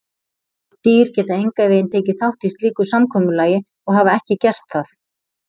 Dýr geta engan veginn tekið þátt í slíku samkomulagi og hafa ekki gert það.